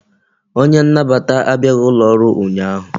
Onye nnabata abịaghi ụlọ ọrụ ụnyaahụ